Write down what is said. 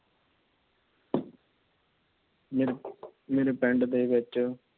ਮੇਰੇ ਪਿੰਡ ਦੇ ਵਿੱਚ